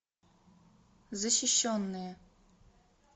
защищенные